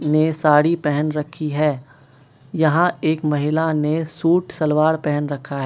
ने साड़ी पहन रखी है यहां एक महिला ने सूट सलवार पहन रखा है।